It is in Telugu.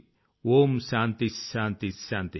ఓం శాన్తిః శాన్తిః శాన్తిః